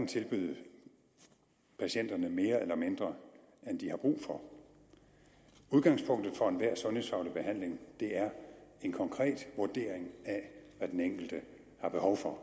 tilbyde patienterne mere eller mindre end de har brug for udgangspunktet for enhver sundhedsfaglig behandling er en konkret vurdering af hvad den enkelte har behov for